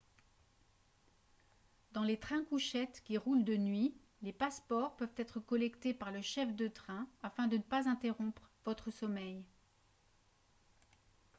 dans les trains-couchettes qui roulent de nuit les passeports peuvent être collectés par le chef de train afin de ne pas interrompre votre sommeil